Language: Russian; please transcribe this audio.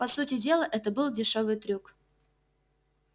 по сути дела это был дешёвый трюк